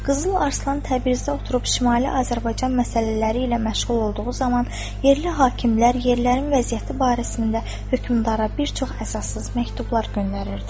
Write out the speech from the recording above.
Qızıl Arslan Təbrizdə oturub Şimali Azərbaycan məsələləri ilə məşğul olduğu zaman, yerli hakimlər yerlərin vəziyyəti barəsində hökmdara bir çox əsassız məktublar göndərirdi.